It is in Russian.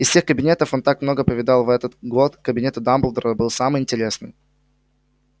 из всех кабинетов он так много повидал их в этот год кабинет дамблдора был самый интересный